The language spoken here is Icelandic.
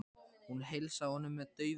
Hún heilsaði honum með daufu brosi.